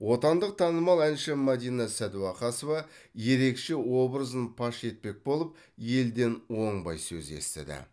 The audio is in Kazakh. отандық танымал әнші мадина сәдуақасова ерекше образын паш етпек болып елден оңбай сөз естіді